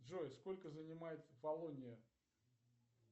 джой сколько занимает фалония